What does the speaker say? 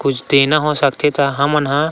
कुछ देना हो सकथे त हम न--